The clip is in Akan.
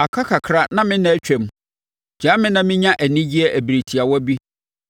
Aka kakra na me nna atwam, gyaa me na menya anigyeɛ ɛberɛ tiawa bi